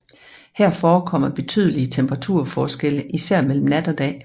Her forekommer betydelige temperaturforskelle især mellem nat og dag